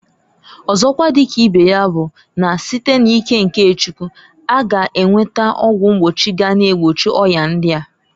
Ọzokwa di ka ibe ya bu na site n'ike nke Chukwu, a ga enweta ọgwụ mgbochi ga na-egbochi oya ndia.